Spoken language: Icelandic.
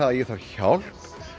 ég þarf hjálp